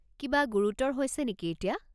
কিবা গুৰুতৰ হৈছে নেকি এতিয়া?